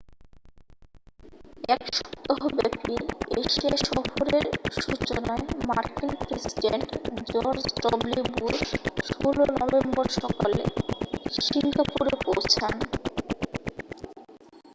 এক সপ্তাহব্যাপী এশিয়া সফরের সূচনায় মার্কিন president George W Bush 16 November সকালে সিঙ্গাপুরে পৌঁছন